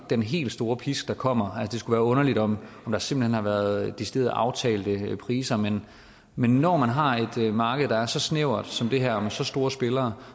den helt store pisk der kommer det skulle være underligt om der simpelt hen har været decideret aftalte priser men men når man har et marked der er så snævert som det her med så store spillere